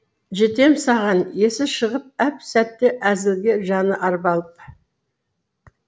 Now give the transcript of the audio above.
жетем саған есі шығып әп сәтте әзілге жаны арбалып